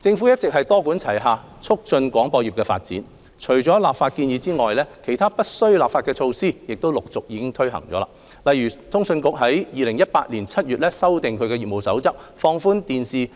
政府一直多管齊下促進廣播業的發展，除立法建議外，其他不需立法的措施亦已陸續推展，例如通訊局已於2018年7月修訂其業務守則，放寬電視